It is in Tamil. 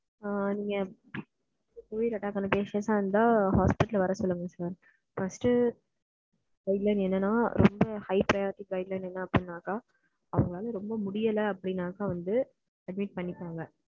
ஆ நீங்க covid attack ஆன patient ஆ இருந்த நீங்க hospital வர சொல்லுங்க சார் first guideline என்னனாக்க high priority guideline அவங்களால ரெம்ப முடியாளனாக்க வந்து admit பண்ணிபாங்க.